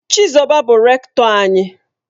Chizoba bu Rektọ anyi.